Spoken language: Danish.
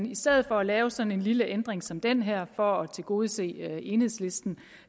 i stedet for at lave sådan en lille ændring som den her for at tilgodese enhedslisten